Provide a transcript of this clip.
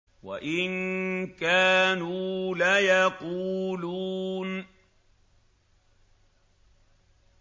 وَإِن كَانُوا لَيَقُولُونَ